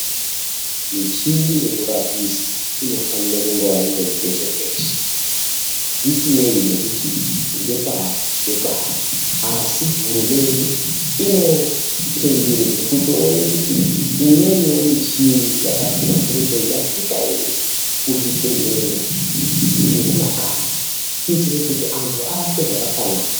Michini yekurapisa inofanire kungowa irikweshe kweshe zvisinei nekuti ngepari ngepari asi hurumende inosungirwe kutoone kuti imweniwo michini yakahlamburukei yasvika ere kumakanyi kuitire kuti antu arapwe zvakafanana.